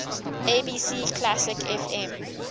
abc classic fm